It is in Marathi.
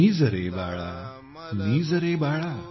निज रे बाळा निज रे बाळा